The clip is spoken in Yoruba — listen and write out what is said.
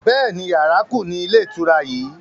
Bẹ́ẹ̀ni, yàrá kú nínú ilé ìtura yìí